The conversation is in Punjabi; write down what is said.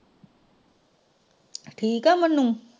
ਠੀਕ ਹੈ ਮੰਨੀ।